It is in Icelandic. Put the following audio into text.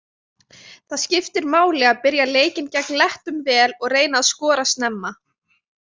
Það skiptir máli að byrja leikinn gegn Lettum vel og reyna að skora snemma.